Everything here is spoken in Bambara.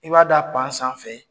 I b'a da sanfɛ.